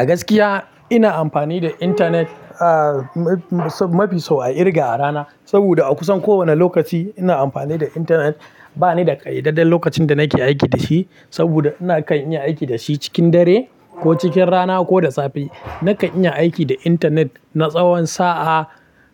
A gaskiya ina amfani da intanet, ah, mafi sau a irga a rana. Saboda a kusan kowane lokaci ina amfani da intanet. Ba ni da ƙayyadadden lokacin da nake aiki da shi saboda ina kan iya aiki da shi cikin dare ko cikin rana ko da safe. Nakan iya aiki da intanet na tsawon sa'a,